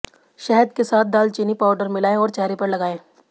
शहद के साथ दालचीनी पाउडर मिलाएं और चेहरे पर लगाएं